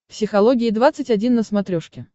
психология двадцать один на смотрешке